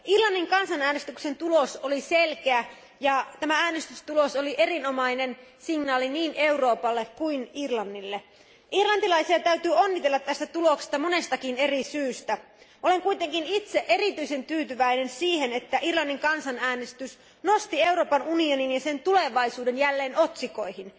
Arvoisa puhemies, hyvät kollegat, Irlannin kansanäänestyksen tulos oli selkeä ja tämä äänestystulos oli erinomainen signaali niin Euroopalle kuin Irlannille. Irlantilaisia täytyy onnitella tästä tuloksesta monestakin eri syystä. Olen kuitenkin itse erityisen tyytyväinen siihen, että Irlannin kansanäänestys nosti Euroopan unionin ja sen tulevaisuuden jälleen otsikoihin.